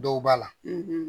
Dɔw b'a la